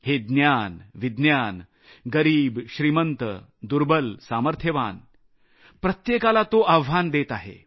हे ज्ञान विज्ञान गरिब श्रीमंत दुर्बल सामर्थ्यवान प्रत्येकाला आव्हान देत आहे